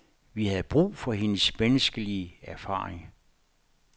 Vi havde brug for hendes menneskelige erfaring.